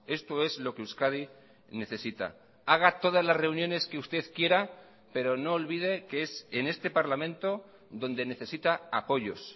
esto es lo que euskadi necesita haga todas las reuniones que usted quiera pero no olvide que es en este parlamento donde necesita apoyos